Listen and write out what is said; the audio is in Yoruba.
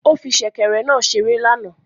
Ó fí sèkèrè náà ṣeré lánàá